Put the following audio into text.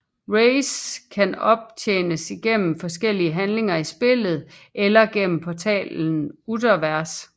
Rays kan optjenes igennem forskellige handlinger i spillet eller gennem portalen Utherverse